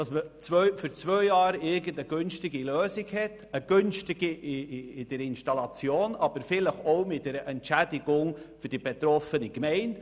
Damit hätte man für zwei Jahre eine günstige Lösung hinsichtlich der Installation, aber vielleicht auch verbunden mit einer Entschädigung für die betroffene Gemeinde.